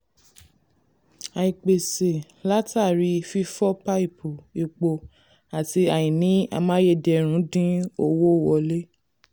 àìpèsè látàrí fífọ paipu epo àti àìní amáyédẹrùn dín owó wọlé.